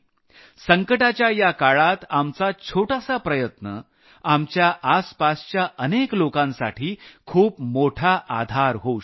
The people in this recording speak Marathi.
संकटाच्या या काळात आपल छोटासा प्रयत्न आपल्या आसपासच्या अनेक लोकांसाठी खूप मोठा आधार होऊ शकतो